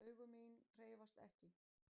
Augu mín hreyfast ekki.